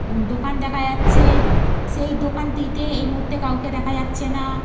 দোকান দেখা যাচ্ছে। সেই দোকানটিতে এই মুহূর্তে কাউকে দেখা দেখা যাচ্ছে না।